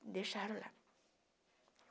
Me deixaram lá.